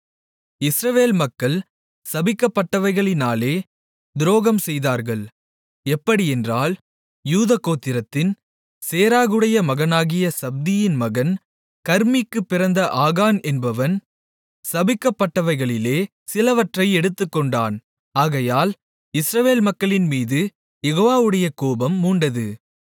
இஸ்ரவேல் மக்கள் சபிக்கப்பட்டவைகளினாலே துரோகம் செய்தார்கள் எப்படியென்றால் யூதாகோத்திரத்தின் சேராகுடைய மகனாகிய சப்தியின் மகன் கர்மீக்குப் பிறந்த ஆகான் என்பவன் சபிக்கப்பட்டவைகளிலே சிலவற்றை எடுத்துக்கொண்டான் ஆகையால் இஸ்ரவேல் மக்களின்மீது யெகோவாவுடைய கோபம் மூண்டது